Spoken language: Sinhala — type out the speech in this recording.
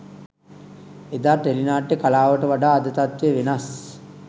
එදා ටෙලි නාට්‍ය කලාවට වඩා අද තත්ත්වය වෙනස්.